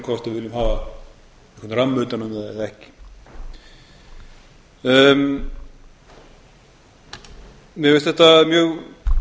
hvort við viljum hafa ramma utan um það eða ekki mér finnst þetta mjög